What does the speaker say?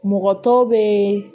Mɔgɔ tɔw bɛ